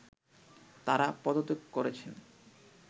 তারা পদত্যাগ করেছেন